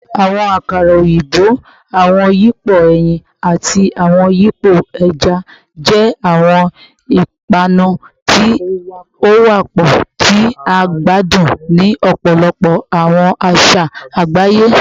Awọn akara oyinbo, awọn yipo ẹyin, ati awọn yipo ẹja jẹ awọn ipanu ti o wapọ ti a gbadun ni ọpọlọpọ awọn aṣa agbaye